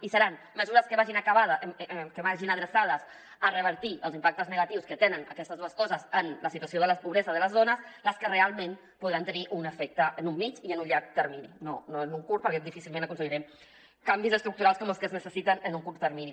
i seran me·sures que vagin adreçades a revertir els impactes negatius que tenen aquestes dues coses en la situació de la pobresa de les dones les que realment podran tenir un efec·te en un mitjà i en un llarg termini no a curt perquè difícilment aconseguirem can·vis estructurals com els que es necessiten en un curt termini